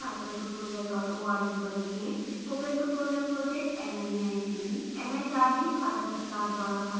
spoken tutorial project nmeict mhrd भारत सरकार द्वारा समर्थित है